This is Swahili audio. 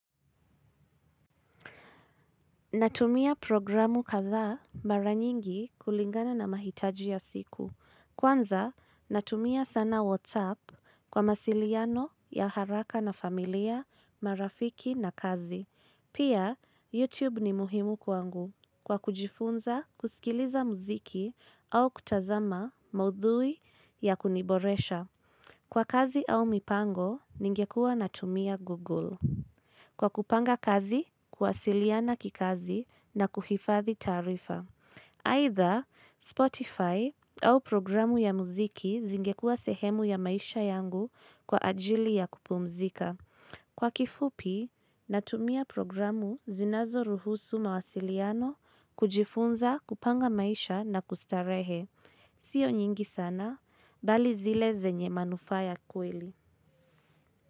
Natumia programu kadhaa mara nyingi kulingana na mahitaji ya siku. Kwanza, natumia sana WhatsApp kwa masiliano ya haraka na familia, marafiki na kazi. Pia, YouTube ni muhimu kwangu kwa kujifunza, kusikiliza muziki au kutazama maudhui ya kuniboresha. Kwa kazi au mipango, ningekuwa natumia Google. Kwa kupanga kazi, kuwasiliana kikazi na kuhifadhi taarifa. Aidha, Spotify, au programu ya muziki zingekua sehemu ya maisha yangu kwa ajili ya kupumzika. Kwa kifupi, natumia programu zinazoruhusu mawasiliano kujifunza kupanga, maisha na kustarehe. Sio nyingi sana, bali zile zenye manufaa ya kweli.